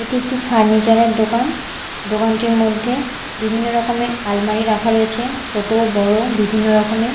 এটি একটি ফার্নিচার -এর দোকান দোকানটির মধ্যে বিভিন্ন রকমের আলমারি রাখা রয়েছে ছোট বড়ো বিভিন্ন রকমে।